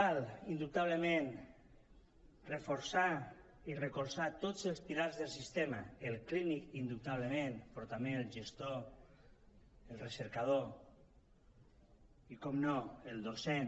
cal indubtablement reforçar i recolzar tots els pilars del sistema el clínic indubtablement però també el gestor el recercador i per descomptat el docent